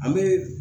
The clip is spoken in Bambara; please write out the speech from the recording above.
An bɛ